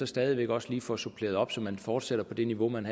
stadig væk også lige får suppleret op så man fortsætter på det niveau man